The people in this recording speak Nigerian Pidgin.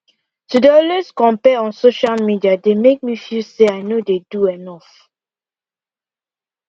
to dey always compare on social media dey make me feel say i no dey do enough